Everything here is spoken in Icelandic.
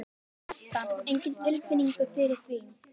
Edda: Enga tilfinningu fyrir því?